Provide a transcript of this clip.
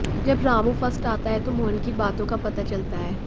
जब रामू फर्स्ट आता है तो मोहन की बातों का पता चलता है